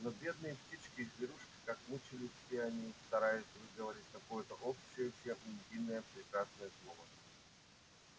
но бедные птички и зверушки как мучились все они стараясь выговорить какое-то общее всем единое прекрасное слово